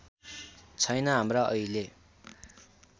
छैन हाम्रा अहिले